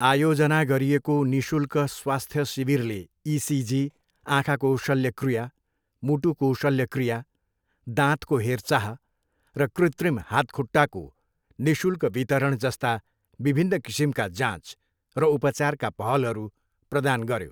आयोजना गरिएको निशुल्क स्वास्थ्य शिविरले इसिजी, आँखाको शल्यक्रिया, मुटुको शल्यक्रिया, दाँतको हेरचाह र कृत्रिम हातखुट्टाको निःशुल्क वितरण जस्ता विभिन्न किसिमका जाँच र उपचारका पहलहरू प्रदान गऱ्यो।